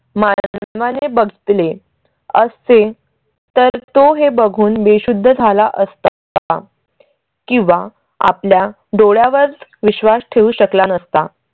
मारा माले बघितले असते तर तो हे बघून बेशुद्ध झाला असत का? किंवा आपल्या डोळ्या वर विश्वास ठेवू शकला नसता.